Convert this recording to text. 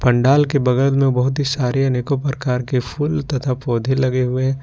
पंडाल के बगल में बहुत ही सारे अनेकों प्रकार के फूल तथा पौधे लगे हुए--